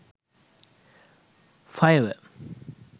fiver